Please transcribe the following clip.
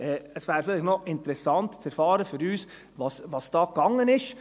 » Es wäre vielleicht interessant für uns zu erfahren, was hier gelaufen ist.